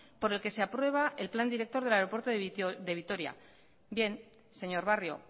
por el que se aprueba el plan director del aeropuerto de vitoria bien señor barrio